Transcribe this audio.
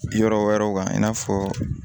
Yɔrɔ wɛrɛw kan i n'a fɔ